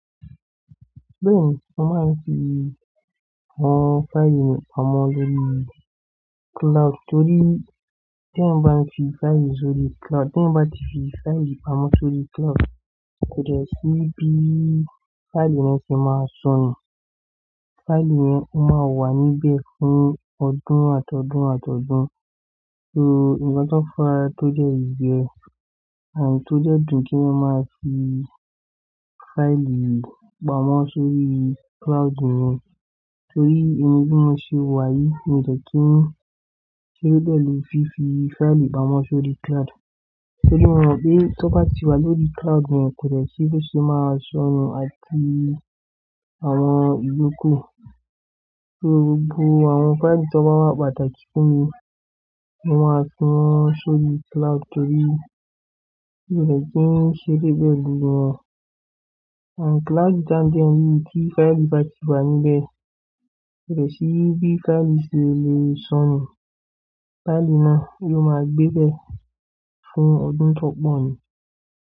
Bẹ́ẹ̀ni, mo máa ń fi àwọn fáìlì mi pamọ́ lórí cloud torí tí èèyan bá ǹ fi fáìlì sórí cloud, tí èèyan bá ti fi fáìlì pamọ́ sórí cloud, kò dẹ̀ sí bí fáìlì yẹn ṣe máa sọnù. Fáìlì yẹn máa wà níbẹ̀ fún ọdún àtọdún àtọdún. So, nkan to faa tó dẹ̀ yẹ, tó dẹ̀ dùn kí èèyan máa fi fáìlì pamọ́ sórí cloud nìyẹn. Torí emi bí mo ṣe wà yìí, mi ò dẹ̀ kí ń ṣeré pẹlu fífi fáìlì pamọ́ sórí cloud. Torí mo mọ̀ pe tó bá ti wà lórí cloud, kò dẹ̀ sí bo ṣe máa sọnù àti àwọn ìyókù. So, gbogbo àwọn fáìlì tí wọn bá wà pàtàkì fún mi, mo máa fi wọ́n sórí cloud torí mi ò dẹ̀ kí ń ṣeré pẹlu wọn. Cloud tí a ń dẹ́ wí yii tí fáìlì bá ti wà níbẹ̀, kò dẹ̀ sí bí faili ṣe le sọnù. Fáìlì náà yóò máa gbébẹ̀ fún ọdún to pọ̀ ni.